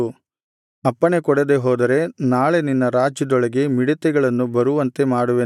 ಅಪ್ಪಣೆಕೊಡದೆ ಹೋದರೆ ನಾಳೆ ನಿನ್ನ ರಾಜ್ಯದೊಳಗೆ ಮಿಡತೆಗಳನ್ನು ಬರುವಂತೆ ಮಾಡುವೆನು